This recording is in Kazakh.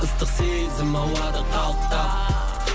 ыстық сезім ауада қалықтап